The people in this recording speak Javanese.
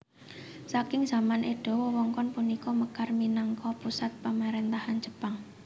Saking zaman Edo wewengkon punika mekar minangka pusat pamaréntahan Jepang